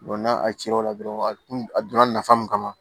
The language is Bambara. n'a cir'o la dɔrɔn a kun a donna nafa mun kama